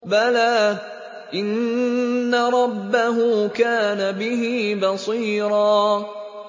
بَلَىٰ إِنَّ رَبَّهُ كَانَ بِهِ بَصِيرًا